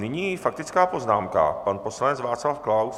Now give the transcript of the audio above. Nyní faktická poznámka - pan poslanec Václav Klaus.